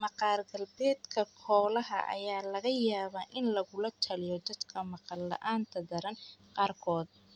Maqaar-gaabeedka koolaha ayaa laga yaabaa in lagula taliyo dadka maqal la'aanta daran qaarkood.